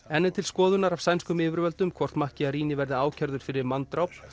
enn er til skoðunar af sænskum yfirvöldum hvort verði ákærður fyrir manndráp